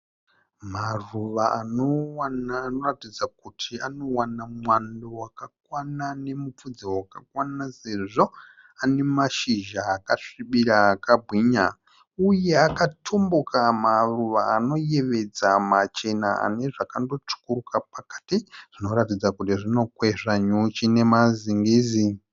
Maruva anoratidza kuti anowana mwando wakakwana nemupfudze wakakwana sezvo ane mashizha akasvibira, akabwinya uye akatumbuka maruva anoyevedza machena ane zvakandotsvukuruka pakati zvinoratidza kuti zvinokwezva nyuchi nemazingizi.